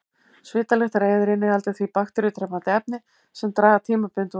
Svitalyktareyðir inniheldur því bakteríudrepandi efni sem draga tímabundið úr gerjuninni.